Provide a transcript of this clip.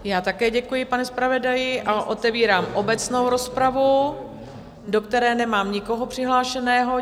Já také děkuji, pane zpravodaji, a otevírám obecnou rozpravu, do které nemám nikoho přihlášeného.